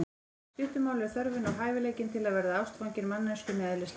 Í stuttu máli er þörfin og hæfileikinn til að verða ástfanginn manneskjunni eðlislægur.